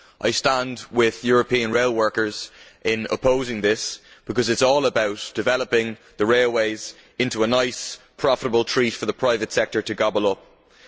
I stand with European rail workers in opposing this, because it is all about developing the railways into a nice profitable treat for the private sector to gobble up.